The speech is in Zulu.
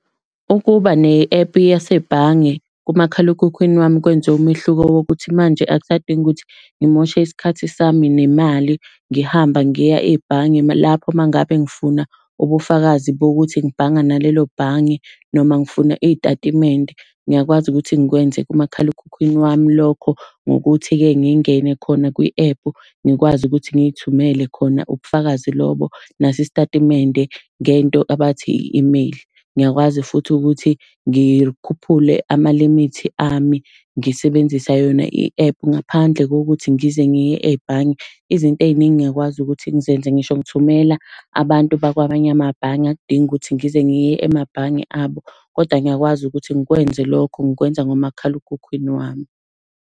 Ukuba ne-ephu yasebhange kumakhalekhukhwini wami kwenze umehluko wokukuthi manje akusadingi ukuthi ngimoshe isikhathi sami nemali ngihamba ngiya ebhange. Lapho uma ngabe ngifuna ubufakazi bokuthi ngibhanga nalelo bhange noma ngifuna iy'tatimende, ngiyakwazi ukuthi ngikwenze kumakhalekhukhwini wami lokho ngokuthi-ke, ngingene khona kwi-ephu ngikwazi ukuthi ngiy'thumele khona ubufakazi lobo, naso isitatimende ngento abathi i-email. Ngiyakwazi futhi ukuthi ngikhuphule amalimithi ami ngisebenzisa yona i-ephu ngaphandle kokuthi ngize ngiye ebhange. Izinto ey'ningi ngiyakwazi ukuthi ngizenze ngisho ngithumela abantu bakwamanye amabhange akudingi ukuthi ngize ngiye emabhange abo, kodwa ngiyakwazi ukuthi ngikwenze lokho, ngikwenza ngomakhalekhukhwini wami.